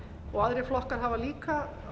og aðrir flokkar hafa líka